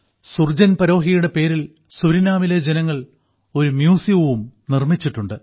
സുർജാൻ പരോഹിയുടെ പേരിൽ സുരിനാമിലെ ജനങ്ങൾ ഒരു മ്യൂസിയവും നിർമ്മിച്ചിട്ടുണ്ട്